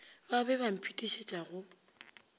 ba be ba mphetišetša go